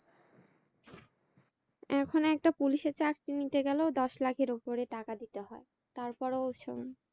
এখন একটা পুলিশের চাকরি নিতে গেলেও দশ লাখের উপরে টাকা দিতে হয় তারপর ও হয়না